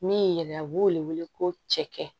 Min yɛrɛ a b'o wele ko cɛkɛ